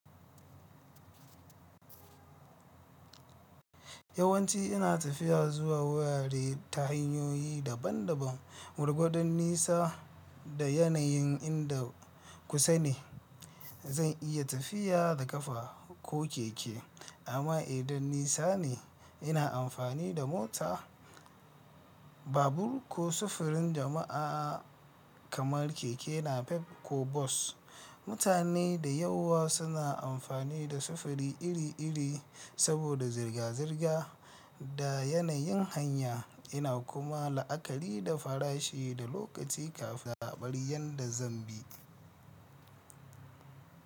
Yawanci ina tafiya zuwa warare ta hanyoyi daban-daban. Gwargwadon nisa da yanayin inda kusa ne, zan iya tafiya da kafa ko keke, amma idan nisa ne ina amfani da mota, babur ko sufurin jama'a kamar keke napep ko bas. Mutane da yawa suna amfani da sufuri iri-iri saboda zirga-zirga da yanayin hanya yana kuma la'akari da farashi da lokaci kafin zaɓar yadda zan bi.